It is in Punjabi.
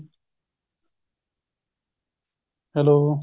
hello